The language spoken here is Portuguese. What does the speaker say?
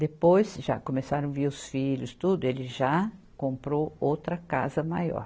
Depois, já começaram vir os filhos e tudo, ele já comprou outra casa maior.